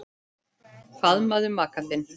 Faðmaðu maka þinn.